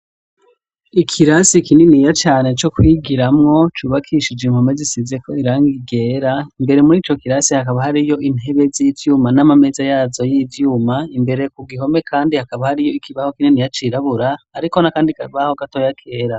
Ikirasi kininiya cane co kwigiramwo cubakishijwe impome zisizeko irangi ryera. Imbere mur'ico kirasi hakaba hariho intebe z'ivyuma n'ameza yazo y'ivyuma. Imbere ku gihome kandi hakaba hariho ikibaho kininiya cirabura, hariko n'akandi gatoya kera.